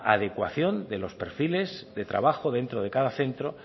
adecuación de los perfiles de trabajo dentro de cada centro